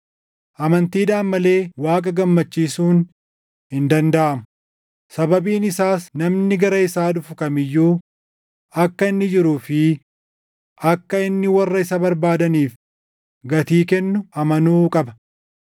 Amantiidhaan malee Waaqa gammachiisuun hin dandaʼamu; sababiin isaas namni gara isaa dhufu kam iyyuu akka inni jiruu fi akka inni warra isa barbaadaniif gatii kennu amanuu qaba.